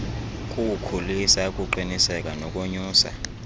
kuwukhulisa ukuqiniseka nokonyusa